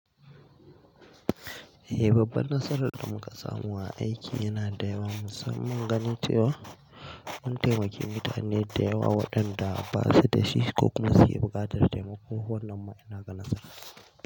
Eh babbar nasarar da muka samu a aiki yana da yawa. Musamman ganin cewa, mun taimaki mutane da yawa waɗanda ba su da shi ko kuma su ke buƙatar taimako wannan ma ina ga nasara.